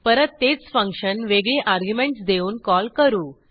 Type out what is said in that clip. परत तेच फंक्शन वेगळी अर्ग्युमेंटस देऊन कॉल करू